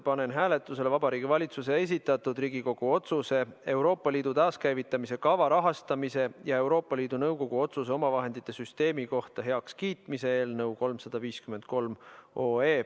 Panen hääletusele Vabariigi Valitsuse esitatud Riigikogu otsuse "Euroopa Liidu taaskäivitamise kava rahastamise ja Euroopa Liidu Nõukogu otsuse omavahendite süsteemi kohta heakskiitmine" eelnõu 353.